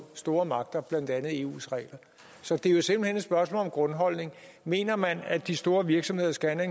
store magter blandt andet eus regler så det er jo simpelt hen et spørgsmål om grundholdninger mener man at de store virksomheder skal have